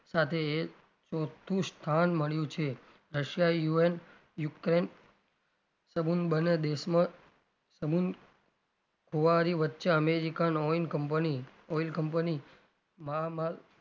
સાથે ચોથું સ્થાન મળ્યું છે રશિયા UN યુક્રેન બને દેશમાં હોવારી વચ્ચે અમેરિકા નોઈન company oil company માં માલ,